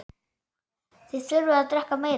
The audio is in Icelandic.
Þið þurfið að drekka meira.